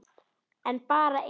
En bara eitt bein.